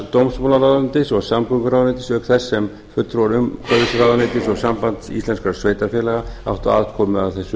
dómsmálaráðuneytis og samgönguráðuneytis hvert sem fulltrúar umhverfisráðuneytis og samband íslenskum sveitarfélaga áttu aðkomu að þessu